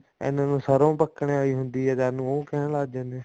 ਇੰਨੇ ਨੂੰ ਸਰੋਂ ਪੱਕਣ ਆਲੀ ਹੁੰਦੀ ਆ ਏ ਜਦ ਨੂੰ ਉਹ ਕਹਿਣ ਲੱਗ ਜਾਂਦੇ ਨੇ